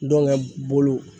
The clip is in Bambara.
Dɔnkɛ bolo